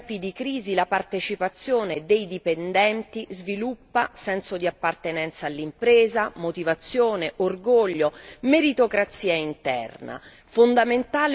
Soprattutto in tempi di crisi la partecipazione dei dipendenti sviluppa senso di appartenenza all'impresa, motivazione, orgoglio, meritocrazia interna.